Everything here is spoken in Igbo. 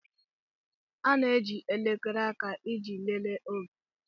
A na-eji elekere aka iji lelee oge.